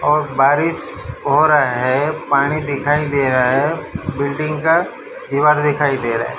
और बारिश हो रहा है पानी दिखाई दे रहा है बिल्डिंग का दीवार दिखाई दे रहा है।